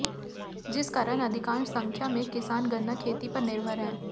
जिस कारण अधिकांश संख्या में किसान गन्ना खेती पर निर्भर है